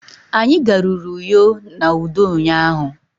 Anyi garuru Uyo na udo ụnyahụ.